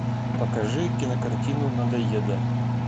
покажи кинокартину надоеда